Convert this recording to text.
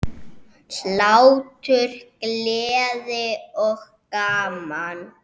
Hlátur, gleði og gaman.